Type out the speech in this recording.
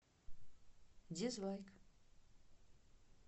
дизлайк